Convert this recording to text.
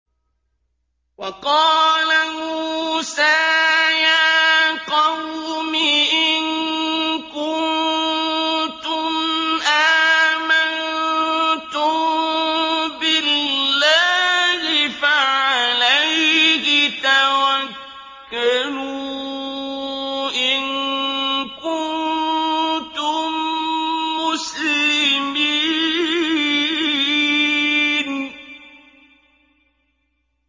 وَقَالَ مُوسَىٰ يَا قَوْمِ إِن كُنتُمْ آمَنتُم بِاللَّهِ فَعَلَيْهِ تَوَكَّلُوا إِن كُنتُم مُّسْلِمِينَ